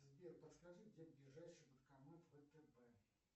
сбер подскажи где ближайший банкомат втб